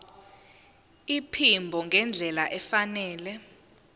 iphimbo ngendlela efanele